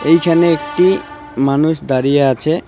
এইখানে একটি মানুষ দাঁড়িয়ে আছে .